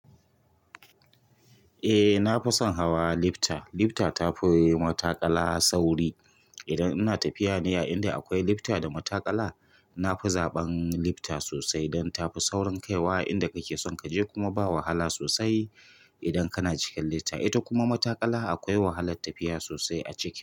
Eh na fi son hawa lifta. Lifta ta fi matakala sauri. Idan ina tafiya ne a inda akwai lifta da matakala, na fi zaɓan lifta sosai don tafi saurin kaiwa inda kake son kaje kuma ba wahala sosai idan kana cikin lifta. Ita kuma matakala akwai wahalar tafiya sosai a ciki.